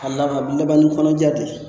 A laban, a laban ni kɔnɔja de ye.